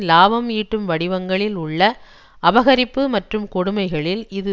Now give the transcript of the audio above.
இலாபம் ஈட்டும் வடிவங்களில் உள்ள அபகரிப்பு மற்றும் கொடுமைகளில் இது